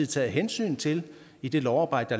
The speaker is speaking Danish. taget hensyn til i det lovarbejde